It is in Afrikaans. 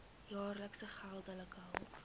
jaar geldelike hulp